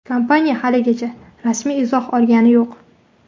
Kompaniya haligacha rasmiy izoh olgani yo‘q.